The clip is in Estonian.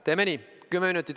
Teeme nii!